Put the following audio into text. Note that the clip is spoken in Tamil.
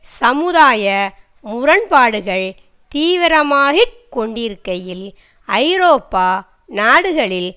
சமுதாய முரண்பாடுகள் தீவிரமாகிக் கொண்டிருக்கையில் ஐரோப்பா நாடுகளில்